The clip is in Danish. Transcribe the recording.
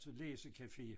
Til læsecafé